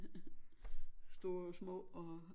Store små og